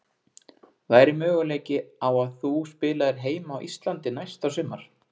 Væri möguleiki á að þú spilaðir heima á Íslandi næsta sumar?